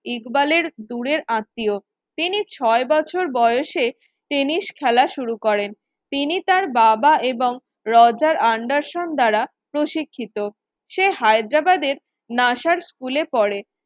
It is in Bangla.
ইকবালের দূরের আত্মীয়। তিনি ছয় বছর বয়সে টেনিস খেলা শুরু করেন। তিনি তাঁর বাবা এবং রজার আন্ডারসন দ্বারা প্রশিক্ষিত। সে হায়দ্রাবাদের স্কুলে পড়ে